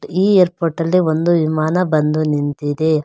ಈ ಏರ್ಪೋರ್ಟ್ ಅಲ್ಲಿ ಒಂದು ವಿಮಾನ ಬಂದು ನಿಂತಿದೆ.